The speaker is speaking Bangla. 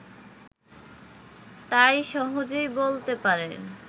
তাই সহজেই বলতে পারেন